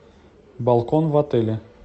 балкон в отеле